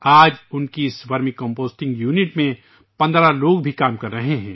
آج اس vermi composting unit میں 15 لوگ بھی کام کر رہے ہیں